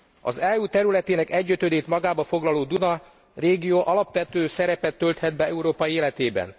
Az EU területének egyötödét magába foglaló Duna régió alapvető szerepet tölthet be Európa életében.